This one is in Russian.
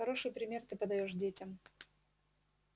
хороший пример ты подаёшь детям